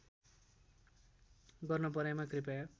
गर्न परेमा कृपया